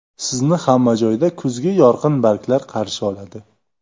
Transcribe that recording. Sizni hamma joyda kuzgi yorqin barglar qarshi oladi.